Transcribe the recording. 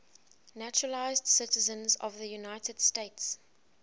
naturalized citizens of the united states